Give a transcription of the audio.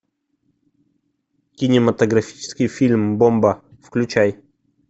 кинематографический фильм бомба включай